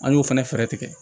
An y'o fana fɛɛrɛ tigɛ